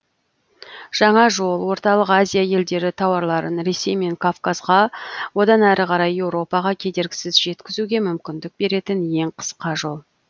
жаңа жол орталық азия елдері тауарларын ресей мен кавказға одан әрі қарай еуропаға кедергісіз жеткізуге мүмкіндік беретін ең қысқа жол